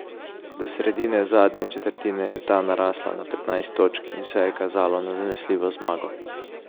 Do sredine zadnje četrtine je ta narastla na petnajst točk in vse je kazalo na zanesljivo zmago.